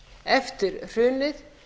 eftir hrunið